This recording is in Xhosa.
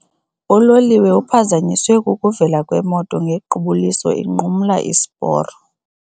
Uloliwe uphazanyiswe kukuvela kwemoto ngequbuliso inqumla isiporo.